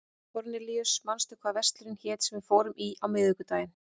Kornelíus, manstu hvað verslunin hét sem við fórum í á miðvikudaginn?